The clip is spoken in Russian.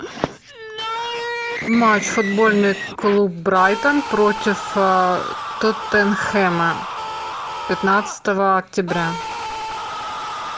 матч футбольный клуб брайтон против тоттенхэма пятнадцатого октября